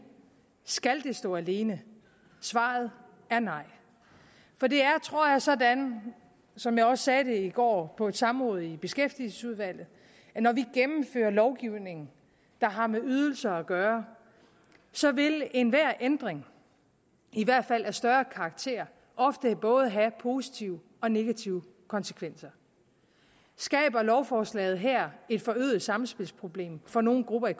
skal det stå alene svaret er nej for det er tror jeg sådan som jeg også sagde det i går på samrådet i beskæftigelsesudvalget at når vi gennemfører lovgivning der har med ydelser at gøre så vil enhver ændring i hvert fald af større karakter ofte have både positive og negative konsekvenser skaber lovforslaget her et forøget samspilsproblem for nogen grupper i